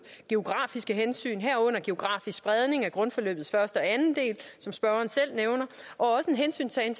geografiske hensyn herunder geografisk spredning af grundforløbets første og anden del som spørgeren selv nævner og også en hensyntagen